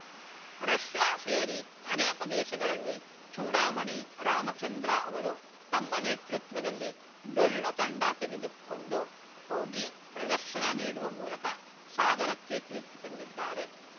Russia ಸೇರಿ ಅನೇಕ ದೇಶಗಳಲ್ಲಿ ಚೂಡಾಮಣಿ ರಾಮಚಂದ್ರ ಅವರು ತಮ್ಮ ನೇತೃತ್ವದಲ್ಲಿ ಡೊಳ್ಳು ತಂಡ ತೆಗೆದುಕೊಂಡು ಹೋಗಿ ಪ್ರದರ್ಶನ ನೀಡುವ ಮೂಲಕ ಸಾಗರಕ್ಕೆ ಕೀರ್ತಿ ತಂದಿದ್ದಾರೆ